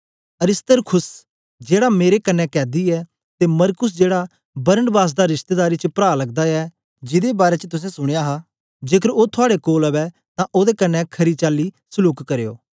अरिस्तर्खुस जेड़ा मेरे कन्ने कैदी ऐ ते मरकुस जेड़ा बरनबास दा रिश्तेदारी च प्रा लगदा ऐ जिदे बारै च तुसें सुनया हा के जेकर ओ थुआड़े कोल अवै तां ओदे कन्ने खरी चाली सलूक करना